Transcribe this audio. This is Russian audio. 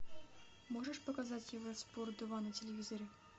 можешь показать евроспорт два на телевизоре